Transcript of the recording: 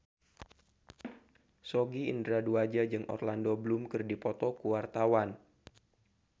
Sogi Indra Duaja jeung Orlando Bloom keur dipoto ku wartawan